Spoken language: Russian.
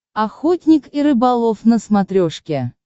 охотник и рыболов на смотрешке